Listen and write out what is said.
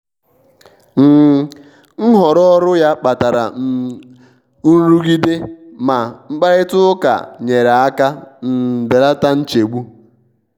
um nhọrọ ọrụ ya kpatara um nrụgidema mkparịta ụka nyere aka um belata nchegbu.